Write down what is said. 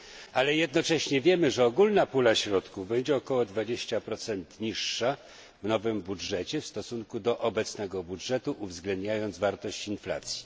Ale jednocześnie wiemy, że ogólna pula środków będzie o około 20 niższa w nowym budżecie w stosunku do obecnego budżetu, uwzględniając wartość inflacji.